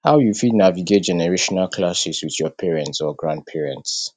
how you fit navigate generational clashes with your parents or grandparents